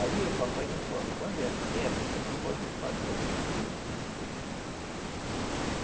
Aí o papai não pode... Quando é assim, a pessoa não pode pagar o compromisso que ele fez.